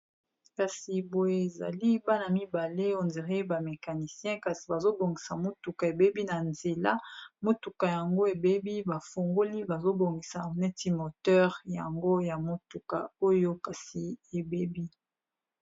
Kasi boye ezali bana mibale ondire ba mecanisien kasi bazobongisa motuka ebebi na nzela motuka yango ebebi bafungoli bazobongisa neti moteur yango ya motuka oyo kasi ebebi.